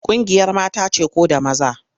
Ƙungiyar mata ce ko da maza?